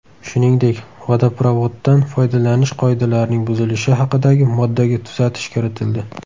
Shuningdek, vodoprovoddan foydalanish qoidalarining buzilishi haqidagi moddaga tuzatish kiritildi.